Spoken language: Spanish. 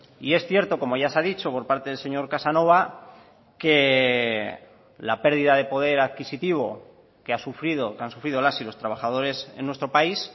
y es cierto como ya se ha dicho por parte del señor casanova que la pérdida de poder adquisitivo que ha sufrido que han sufrido las y los trabajadores en nuestro país